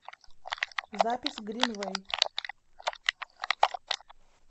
запись гринвэй